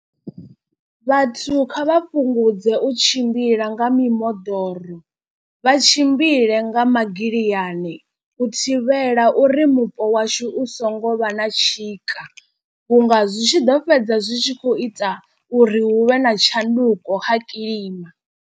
Vhathu kha vha fhungudze u tshimbila nga mimoḓoro vha tshimbile nga magiliyani. U thivhela uri mupo washu u so ngo vha na tshika vhunga zwi tshi ḓo fhedza zwi tshi khou ita uri hu vhe na tshanduko kha kiḽima.